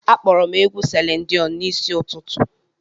Akpọrọ m egwu Selin Diọn n'isi ụtụtụ.